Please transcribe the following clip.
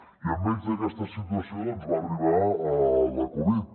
i enmig d’aquesta situació doncs va arribar la covid